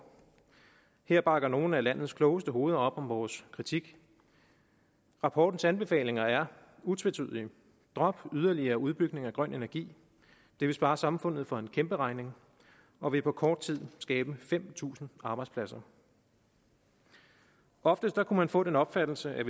her bakker nogle af landets klogeste hoveder op om vores kritik rapportens anbefalinger er utvetydige drop yderligere udbygning af grøn energi det vil spare samfundet for en kæmpe regning og vil på kort tid skabe fem tusind arbejdspladser oftest kunne man få den opfattelse at